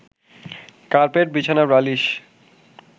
carpet, বিছানা, বালিশ